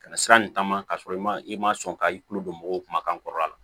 Ka na sira nin taama ka sɔrɔ i ma i ma sɔn ka i kulo don mɔgɔw kuma ka kɔrɔ a la